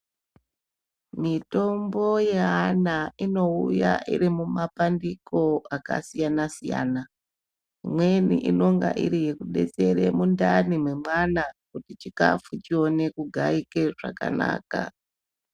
Mitombo yeana inouya iri mumapandiko akasiyana siyana imweni inonga iri yekudetsere mundani mwemwana kuti chikafu chione kugaike zvakanaka.